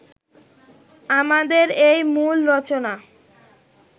আমাদের এই মূল রচনা